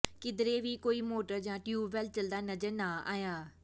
ਕਿਧਰੇ ਵੀ ਕੋਈ ਮੋਟਰ ਜਾਂ ਟਿਊਬਵੈਲ ਚੱਲਦਾ ਨਜ਼ਰ ਨਾ ਆਇਆ